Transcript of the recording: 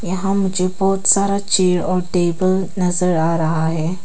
यहां मुझे बहुत सारा चेयर और टेबल नजर आ रहा है।